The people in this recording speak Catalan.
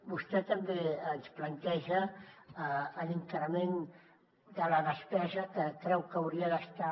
vostè també ens planteja l’increment de la despesa que creu que hauria d’estar